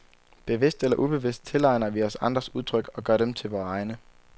Bevidst eller ubevidst tilegner vi os andres udtryk og gør dem til vore egne.